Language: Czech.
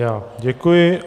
Já děkuji.